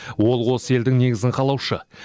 ол осы елдің негізін қалаушы